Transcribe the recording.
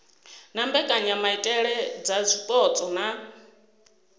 na mbekanyamaitele dza zwipotso na